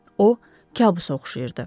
O kabusa oxşayırdı.